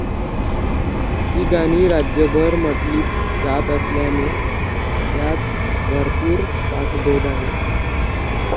ही गाणी महाराष्ट्रभर म्हटली जात असल्याने त्यात भरपूर पाठभेद आहेत.